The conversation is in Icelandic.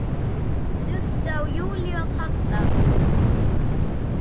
Þurfti á Júlíu að halda.